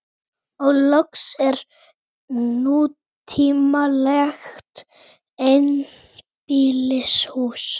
Fundagerðabók, sjá gerðabók